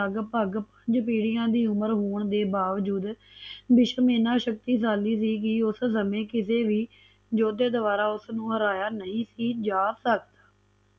ਲਗਪਗ ਪੰਜ ਪੀਡੀਆ ਦੀ ਉਮਰ ਹੋਣ ਦੇ ਬਾਵਜੂਦ ਭੀਸ਼ਮ ਇਹਨਾਂ ਸ਼ਕਤੀਸ਼ਾਲੀ ਸੀ ਕਿ ਉਸ ਸਮੇ ਕਿਸੀ ਵੀ ਯੋਧੇ ਦੁਆਰਾ ਉਸਨੂੰ ਹਰਾਇਆ ਨਹੀਂ ਜਾ ਸਕਦਾ